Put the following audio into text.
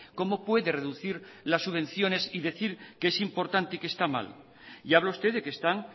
cómo puede reducir las subvenciones y decir que es importante y que está mal y habla usted de que están